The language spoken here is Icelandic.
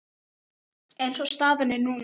Eins og staðan er núna.